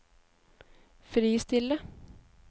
fristille